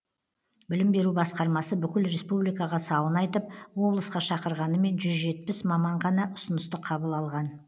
білім беру басқармасы бүкіл республикаға сауын айтып облысқа шақырғанымен жүз жетпіс маман ғана ұсынысты қабыл алған